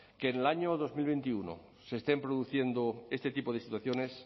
que en el año dos mil veintiuno se estén produciendo este tipo de situaciones